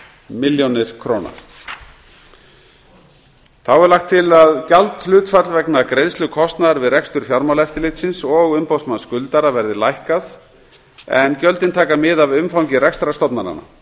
milljónir króna þá er lagt til að gjaldhlutfall vegna greiðslu kostnaðar við rekstur fjármálaeftirlitsins og umboðsmanns skuldara verði lækkað en gjöldin taka mið af umfangi við rekstur stofnananna